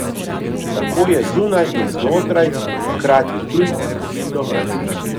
Tako je zunaj in znotraj, hkrati tuj in domač.